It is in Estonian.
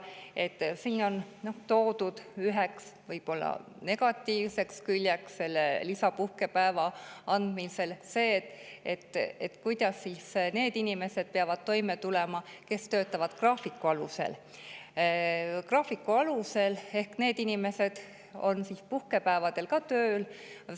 Selle lisapuhkepäeva andmisel on toodud üheks negatiivseks küljeks see, et kuidas siis need inimesed peavad toime tulema, kes töötavad graafiku alusel, sest nad on ka puhkepäevadel tööl.